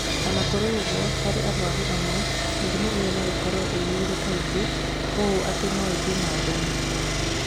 O na kũrĩ ũguo, harĩ arũaru amwe, mĩrimũ ĩyo no ĩkorũo ĩiyũire kaingĩ ũũ atĩ no ĩthiĩ na mbere.